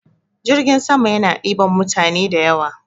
Jirgin sama yana ɗiban mutane da yawa.